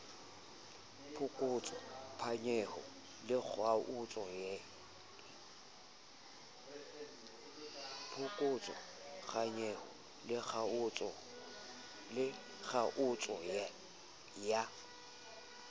phokotso phanyeho le kgaotso ya